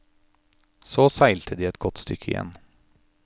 Så seilte de et godt stykke igjen.